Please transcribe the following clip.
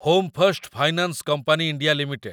home first finance company India limited